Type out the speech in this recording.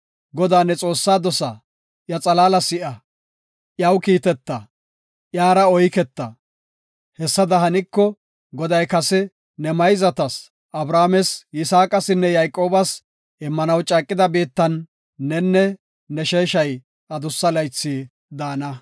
Godaa ne Xoossaa dosa; iya qaala si7a, iyaw kiiteta; iyara oyketa. Hessada haniko, Goday kase ne mayzatas, Abrahaames, Yisaaqasinne Yayqoobas immanaw caaqida biittan nenne ne sheeshay adussa laythi daana.